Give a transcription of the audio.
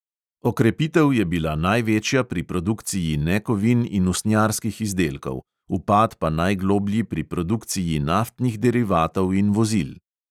Okrepitev je bila največja pri produkciji nekovin in usnjarskih izdelkov, upad pa najgloblji pri produkciji naftnih derivatov in vozil.